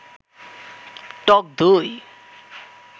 টক দই